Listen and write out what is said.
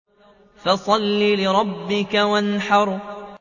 فَصَلِّ لِرَبِّكَ وَانْحَرْ